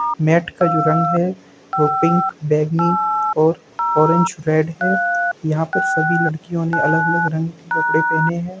Met का जो रंग है वो पिंक बैगनी और ऑरेंज रेड है हाँ पे सभी लड़कियों नो अलग-अलग रंग के कपड़े पहने है।